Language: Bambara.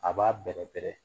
A b'a bɛrɛ bɛrɛ.